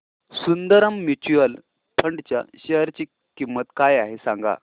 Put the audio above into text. Sundaram mutual fund च्या share ची किंमत काय आहे सांगा